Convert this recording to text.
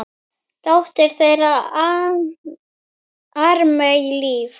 Dóttir þeirra: Ármey Líf.